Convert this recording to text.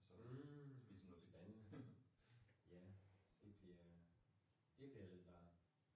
Mh spændende! Ja, det bliver vel varmt